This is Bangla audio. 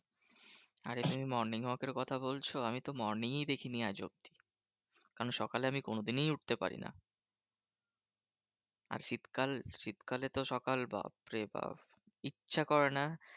আরে তুমি morning walk এর কথা বলছো, আমিতো morning ই দেখিনি আজ অব্দি। কারণ সকালে আমি কোনোদিনই উঠতে পারি না। আর শীতকাল শীতকালে তো সকাল বাপ্ রে বাপ্ ইচ্ছা করে না।